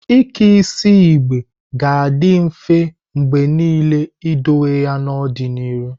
Ike isi igbe ga-adị mfe mgbe niile idowe ya n'ọdịnihu.